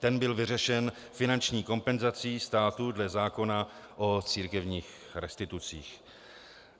Ten byl vyřešen finanční kompenzací státu dle zákona o církevních restitucích.